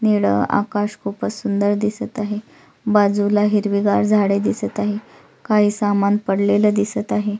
निळ आकाश खूपच सुंदर दिसत आहे बाजूला हिरवीगार झाड दिसत आहे काही सामान पडलेल दिसत आहे.